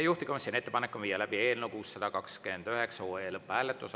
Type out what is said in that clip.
Juhtivkomisjoni ettepanek on viia läbi eelnõu 629 lõpphääletus.